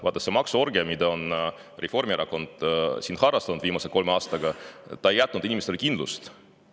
Vaata, see maksuorgia, mida Reformierakond on siin harrastanud viimasel kolmel aastal, ei ole jätnud inimestele kindlust.